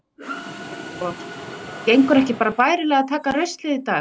Breki Logason: Gengur ekki bærilega bara að taka ruslið í dag?